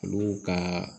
Olu ka